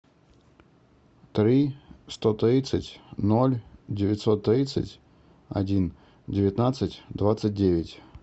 три сто тридцать ноль девятьсот тридцать один девятнадцать двадцать девять